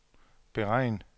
beregn